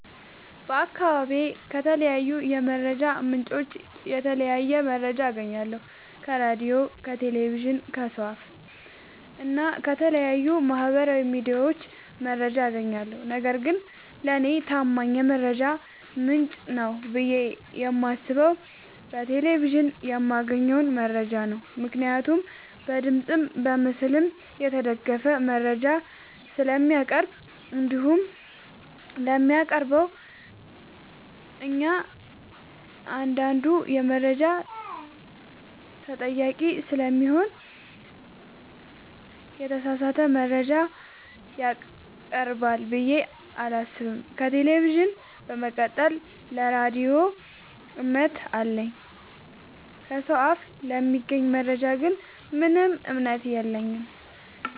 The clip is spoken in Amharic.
በአካባቢዬ ከተለያዩ የመረጃ ምንጮች የተለያየ መረጃ አገኛለሁ ከራዲዮ ከቴሌቪዥን ከሰው አፋ እና ከተለያዩ ማህበራዊ ሚዲያዎች መረጃ አጋኛለሁ። ነገርግን ለኔ ታማኝ የመረጃ ምንጭ ነው ብዬ የማስበው በቴሌቪዥን የማገኘውን መረጃ ነው ምክንያቱም በድምፅም በምስልም የተደገፈ መረጃ ስለሚያቀርብ። እንዲሁም ለሚያቀርበው እኛአንዳዱ መረጃ ተጠያቂ ስለሚሆን የተሳሳተ መረጃ ያቀርባል ብዬ አላሰብም። ከቴሌቪዥን በመቀጠል ለራዲዮ እምነት አለኝ። ከሰው አፍ ለሚገኝ መረጃ ግን ምንም እምነት የለኝም።